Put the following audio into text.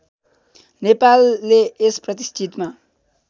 नेपाले यत प्रतिष्ठितम्